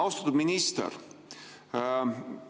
Austatud minister!